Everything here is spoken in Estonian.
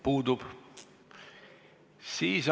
Puudub saalist.